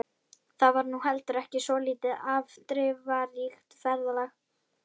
Það var nú heldur ekki svo lítið afdrifaríkt ferðalag.